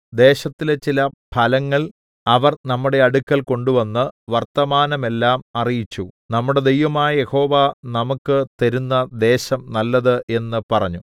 ദേശത്തിലെ ചില ഫലങ്ങൾ അവർ നമ്മുടെ അടുക്കൽ കൊണ്ടുവന്ന് വർത്തമാനമെല്ലാം അറിയിച്ചു നമ്മുടെ ദൈവമായ യഹോവ നമുക്ക് തരുന്ന ദേശം നല്ലത് എന്ന് പറഞ്ഞു